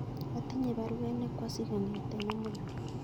Atinye baruet nekwosich kongeten amut langat